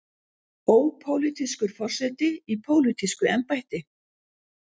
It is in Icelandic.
Ópólitískur forseti í pólitísku embætti.